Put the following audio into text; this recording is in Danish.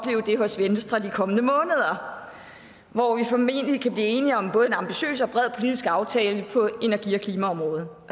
det hos venstre de kommende måneder hvor vi formentlig kan blive enige om både en ambitiøs og bred politisk aftale på energi og klimaområdet